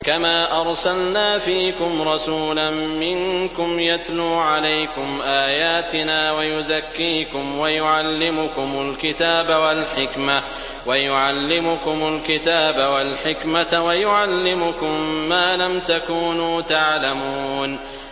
كَمَا أَرْسَلْنَا فِيكُمْ رَسُولًا مِّنكُمْ يَتْلُو عَلَيْكُمْ آيَاتِنَا وَيُزَكِّيكُمْ وَيُعَلِّمُكُمُ الْكِتَابَ وَالْحِكْمَةَ وَيُعَلِّمُكُم مَّا لَمْ تَكُونُوا تَعْلَمُونَ